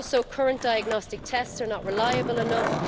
Current diagnostic tests are also not reliable enough.